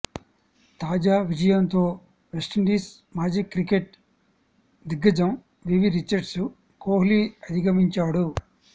తాజా విజయంతో వెస్టిండిస మాజీ క్రికెట్ దిగ్గజం వివ్ రిచర్డ్స్ను కోహ్లీ అధిగమించాడు